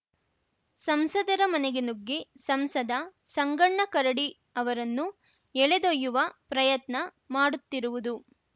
ಸಂಸದರ ಮನೆಗೆ ನುಗ್ಗಿ ಸಂಸದ ಸಂಗಣ್ಣ ಕರಡಿ ಅವರನ್ನು ಎಳೆದೊಯ್ಯುವ ಪ್ರಯತ್ನ ಮಾಡುತ್ತಿರುವುದು